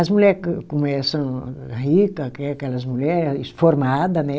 As mulher co como elas são rica que, que elas mulher formada né?